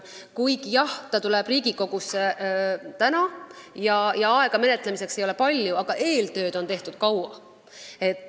Kuigi, jah, see tuli Riigikogusse täna ja menetlemiseks ei ole palju aega, ometi eeltööd on tehtud kaua.